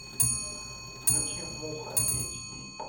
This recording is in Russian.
включи муха эйч ди